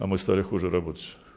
а мы стали хуже работать